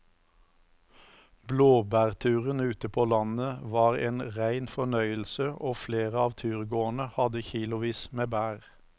Blåbærturen ute på landet var en rein fornøyelse og flere av turgåerene hadde kilosvis med bær.